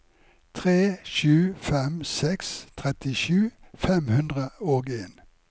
tre sju fem seks trettisju fem hundre og en